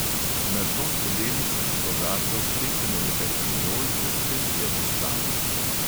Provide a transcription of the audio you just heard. Na dno skodelic ali kozarcev stresemo nekaj pinjol ter prelijemo s čajem.